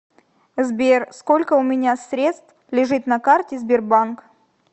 сбер сколько у меня средств лежит на карте сбербанк